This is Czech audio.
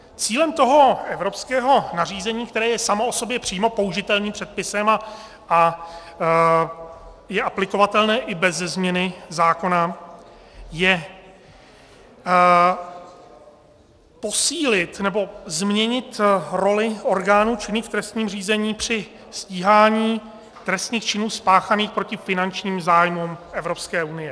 Cílem toho evropského nařízení, které je samo o sobě přímo použitelným předpisem a je aplikovatelné i bez změny zákona, je posílit nebo změnit roli orgánů činných v trestním řízení při stíhání trestných činů spáchaných proti finančním zájmům Evropské unie.